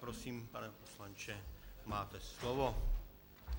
Prosím, pane poslanče, máte slovo.